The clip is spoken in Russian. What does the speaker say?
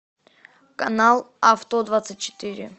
канал авто двадцать четыре